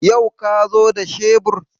Yau ka zo da shebur?